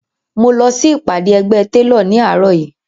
Mo lọ sí ìpàdé ẹgbẹ́ télọ̀ ní àárọ̀ yìí